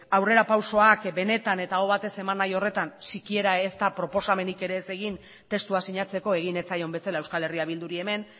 aurrera pausuak benetan eta aho batez eman nahi horretan sikiera ez da proposamenik ez egin testua sinatzeko egin ez zaion bezala euskal herria bilduri hemen